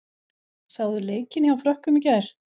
Sáuð þið leikinn hjá Frökkum í gær?